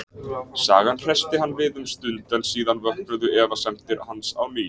Sagan hressti hann við um stund, en síðan vöknuðu efasemdir hans á ný.